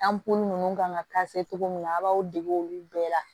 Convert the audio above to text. An bo ninnu kan ka cogo min na a' b'aw dege olu bɛɛ la